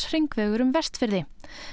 heilsárshringvegur um Vestfirði